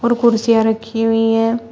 और कुर्सियां रखी हुई है।